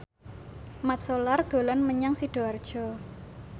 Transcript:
Mat Solar dolan menyang Sidoarjo